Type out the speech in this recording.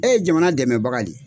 E ye jamana dɛmɛbaga de ye.